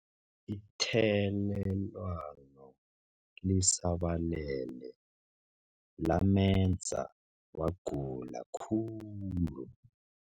Ithelelwano lisabalele lamenza wagula khulu.